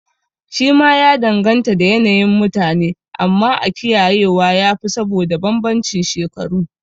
Shi ma ya danganta da yanayin mutane, amma a kiyaye wa yafi saboda banbancin shekaru